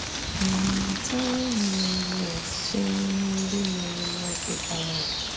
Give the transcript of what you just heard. Ma à mụtawo ihe n’ezie site n’ihe ndị mere n’oge gara aga?